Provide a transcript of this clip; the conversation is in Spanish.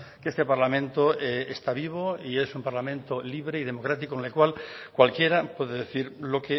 que este parlamento está vivo y es un parlamento libre y democrático en el cual cualquiera puede decir lo